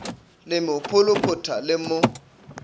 le mo pholophotha le mo